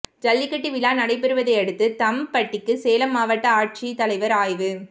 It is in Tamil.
ஜல்லிக்கட்டு விழா நடைபெறுவதையடுத்து தம்ம்ம்பட்டிக்கு சேலம் மாவட்ட ஆட்சித் தலைவர் ஆய்வு